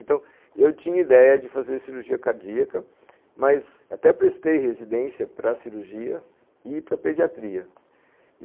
Então, eu tinha ideia de fazer cirurgia cardíaca, mas até prestei residência para cirurgia e para pediatria.